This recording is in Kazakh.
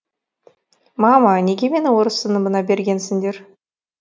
мама неге мені орыс сыныбына бергенсіңдер